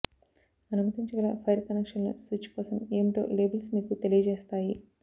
అనుమతించగల wire కనెక్షన్లు switch కోసం ఏమిటో లేబుల్స్ మీకు తెలియజేస్తాయి